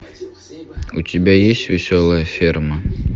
у тебя есть веселая ферма